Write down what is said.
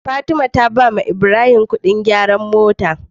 Fatima ta badawa ibrahim Ƙudin gyaran motar ta